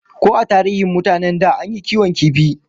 Ko a tarihin mutanen da an yi kiwon kifi?